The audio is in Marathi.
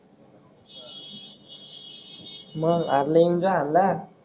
मंग आला.